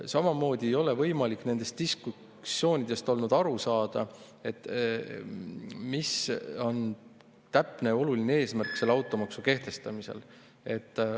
Samamoodi ei ole nendes diskussioonides olnud võimalik aru saada, mis on automaksu kehtestamise täpne ja oluline eesmärk.